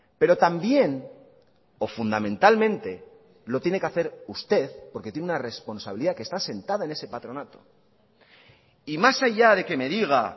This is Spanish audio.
pero también o fundamentalmente lo tiene que hacer usted porque tiene una responsabilidad que está sentada en ese patronato y más allá de que me diga